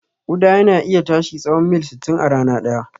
Ƙuda yana iya tashi tsahon mil sittin a rana ɗaya.